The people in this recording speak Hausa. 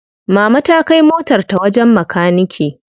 Mama ta kai motar ta wajen makanike.